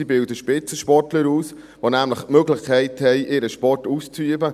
Sie bilden Spitzensportler aus, die nämlich die Möglichkeit haben, ihren Sport auszuüben.